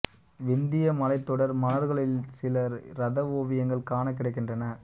விந்திய மலைத்தொடர் மணல்கற்களில் சில இரத ஓவியங்கள் காணக் கிடைக்கின்றன